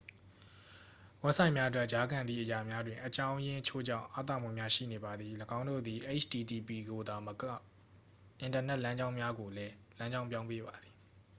ဝက်ဆိုက်များအတွက် ကြားခံသည့်အရာများတွင် အကြောင်းအရင်းချို့ကြောင့် အားသာမှုများရှိနေပါသည် ၎င်းတို့သည် http ကိုသာမဟုတ် အင်တာနက် လမ်းကြောင်းများကိုလည်း လမ်းကြောင်းပြောင်းပေးပါသည်